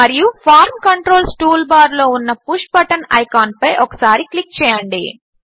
మరియు form controls టూల్బార్లో ఉన్న పుష్ బటన్ ఐకాన్ పై ఒకసారి క్లిక్ చేయండి